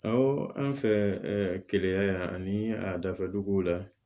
an fɛ keleya yan ani a dafa duguw la